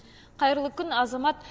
қайырлы күн азамат